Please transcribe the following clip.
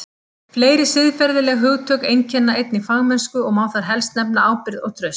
Fleiri siðferðileg hugtök einkenna einnig fagmennsku og má þar helst nefna ábyrgð og traust.